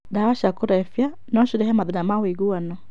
Ndawa no cirehe mathĩĩna ma ũiguano.